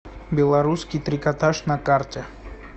белорусский трикотаж на карте